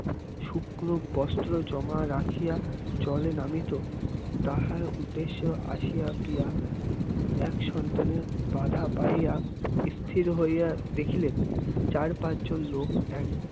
শুষ্ক বস্ত্র জমা রাখিয়া জলে নামিত তাহার উদ্দেশ্য আসিয়া গিয়া এক সন্তানের বাধা পাইয়া স্থির হইয়া দেখিলেন চার পাঁচজন লোক এক